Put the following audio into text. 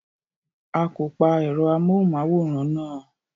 A kò pa ẹ̀rọ amóhùmáwòra náà.